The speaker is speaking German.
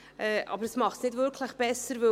Aber dies macht es nicht wirklich besser.